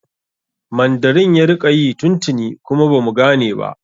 Mandarin ya rika yi tun tuni kuma bamu gane ba